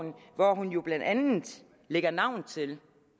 hvor hun jo blandt andet lagde navn til